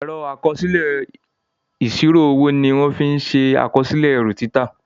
Ẹ̀rọ àkọsílẹ̀ ìsírò owó ní wón fín ṣe àkọsílẹ̀ erù títà.